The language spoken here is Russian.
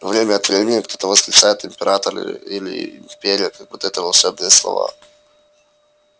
время от времени кто-то восклицает император или империя как будто это волшебные слова